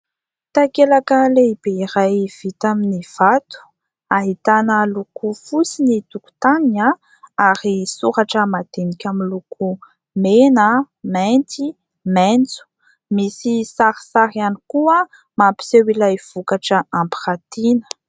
Takelaka lehibe iray vita amin'ny vato. Ahitana loko fotsy ny tokotaniny ary soratra madinika amin'ny loko mena, mainty maitso. Misy sarisary ihany koa mampiseho ilay vokatra ampiratina.